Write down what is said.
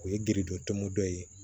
O ye giridon tɔnmɔ ye